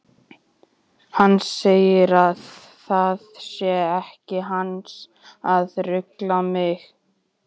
Hann segir að það sé ekki hans að rugla mig.